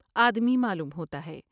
آدمی معلوم ہوتا ہے ۔